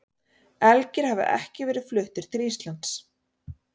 Elgir hafa ekki verið fluttir til Íslands.